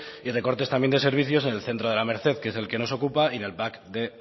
y recortes también de servicios en el centro de la merced que es el que nos ocupa y en el pac de